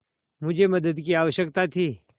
मुझे मदद की आवश्यकता थी